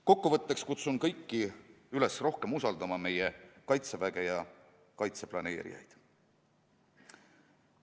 Kokku võttes kutsun kõiki üles rohkem usaldama meie Kaitseväge ja kaitse planeerijaid.